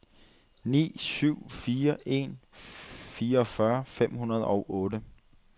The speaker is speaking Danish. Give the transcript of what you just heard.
ni syv fire en fireogfyrre fem hundrede og otte